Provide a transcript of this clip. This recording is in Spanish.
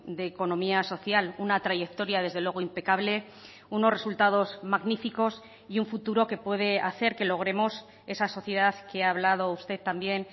de economía social una trayectoria desde luego impecable unos resultados magníficos y un futuro que puede hacer que logremos esa sociedad que ha hablado usted también